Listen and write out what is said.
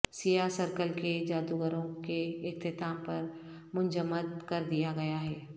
سیاہ سرکل کے جادوگروں کے اختتام پر منجمد کر دیا گیا ہے